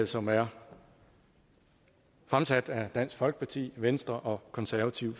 som er fremsat af dansk folkeparti og venstre og konservative